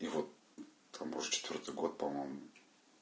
и вот там уже четвёртый год по-моему